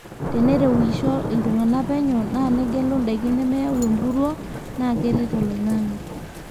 tenerewisho iltungana penyo naa negelu ndaiki nemeyau empuruo naa keret olingange